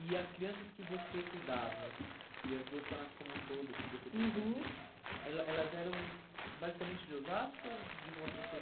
E as crianças que você cuidava, e as do orfanato como um todo, que você tem, uhum, conhecimento, ela elas eram basicamente de Osasco ou de outras